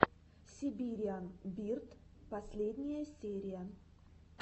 сибириан бирд последняя серия